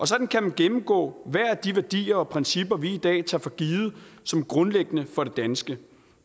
sådan kan man gennemgå hver af de værdier og principper vi i dag tager for givet som grundlæggende for det danske